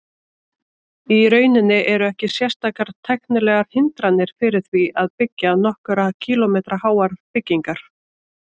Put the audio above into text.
Í rauninni eru ekki sérstakar tæknilegar hindranir fyrir því að byggja nokkurra kílómetra háar byggingar.